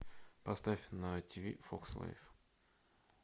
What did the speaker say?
поставь на ти ви фокс лайф